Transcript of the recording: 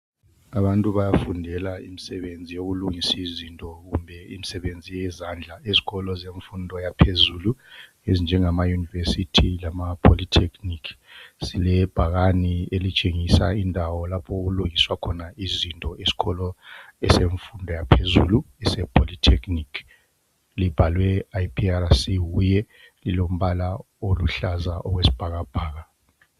Abantu bayafundela imsebenzi yokulungisa izinto kumbe imsebenzi yezandla ezikolo zemfundo yaphezulu, ezinjengama university lama polytechnic. Silebhakane elitshengisa indawo lapho okulungiswa khona izinto esikolo esemfundo yaphezulu ese polytechnic. Libhalwe IPRC HUYE, lilombala oluhlaza okwesibhakabhaka.